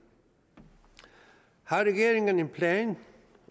har regeringen en plan